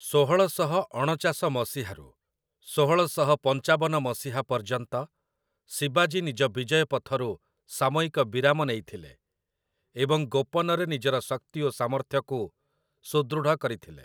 ଷୋହଳଶହ ଅଣଚାଶ ମସିହାରୁ ଷୋହଳଶହ ପଞ୍ଚାବନ ମସିହା ପର୍ଯ୍ୟନ୍ତ ଶିବାଜୀ ନିଜ ବିଜୟ ପଥରୁ ସାମୟିକ ବିରାମ ନେଇଥିଲେ ଏବଂ ଗୋପନରେ ନିଜର ଶକ୍ତି ଓ ସାମର୍ଥ୍ୟକୁ ସୁଦୃଢ଼ କରିଥିଲେ ।